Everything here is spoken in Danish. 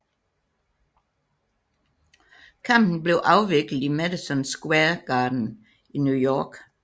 Kampen blev afviklet i Madison Square Garden i New York